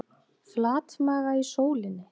Flatmaga í sólinni